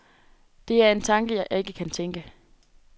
Det er en tanke, jeg ikke kan tænke.